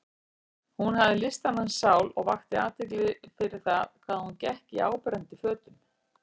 Hún hafði listamannssál og vakti athygli fyrir það hvað hún gekk í áberandi fötum.